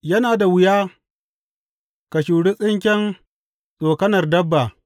Yana da wuya ka shuri tsinken tsokanar dabba.’